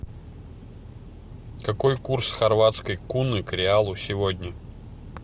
какой курс хорватской куны к реалу сегодня